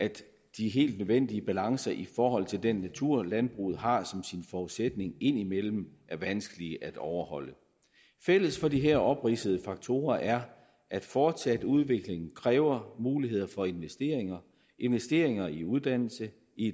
de helt nødvendige balancer i forhold til den natur landbruget har som sin forudsætning indimellem er vanskelige at overholde fælles for de her opridsede faktorer er at fortsat udvikling kræver muligheder for investeringer investeringer i uddannelse